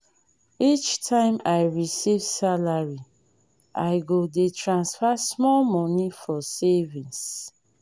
each time i receive salary i go dey transfer small money for savings.